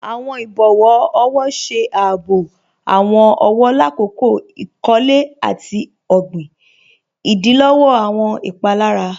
Awọn ibọwọ ọwọ ṣe àábò awọn ọwọ làkọ̀kọ̀ ikọ̀lẹ̀ àti ogbin, ìdílọ̀wọ̀ awọn ìpalára.